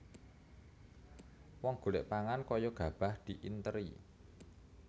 Wong golek pangan kaya gabah diinteri